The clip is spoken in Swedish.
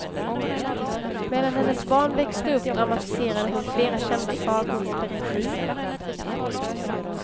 Medan hennes barn växte upp dramatiserade hon flera kända sagor och berättelser.